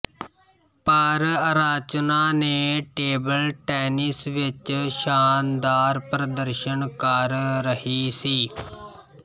ਪਰ ਅਰਚਨਾ ਨੇ table tennis ਵਿੱਚ ਸ਼ਾਨਦਾਰ ਪ੍ਰਦਰਸ਼ਨ ਕਰ ਰਹੀ ਸੀ